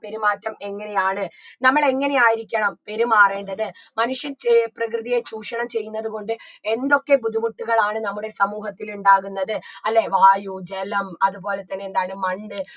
പെരുമാറ്റം എങ്ങനെയാണ് നമ്മള് എങ്ങനെയായിരിക്കണം പെരുമാറേണ്ടത് മനുഷ്യൻ ചേ പ്രകൃതിയെ ചൂഷണം ചെയ്യുന്നത് കൊണ്ട് എന്തൊക്കെ ബുദ്ധിമുട്ടുകളാണ് നമ്മുടെ സമൂഹത്തിൽ ഉണ്ടാകുന്നത് അല്ലേ വായു ജലം അത്പോലെ തന്നെ എന്താണ് മണ്ണ്